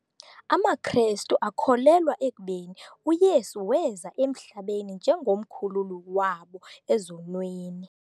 AmaKrestu akholelwa ekubeni uYesu weza emhlabeni njengomkhululi wabo ezonweni.